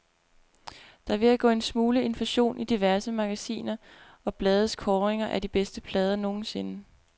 Der er ved at gå en smule inflation i diverse magasiner og blades kåringer af de bedste plader nogensinde.